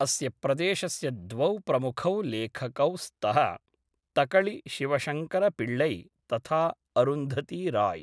अस्य प्रदेशस्य द्वौ प्रमुखौ लेखकौ स्तः तकळि शिवशङ्कर पिळ्ळै, तथा अरुन्धती राय्।